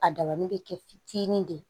A dabali bɛ kɛ fitinin de ye